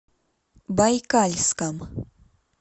байкальском